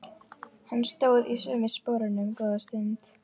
Hann stóð í sömu sporunum góða stund.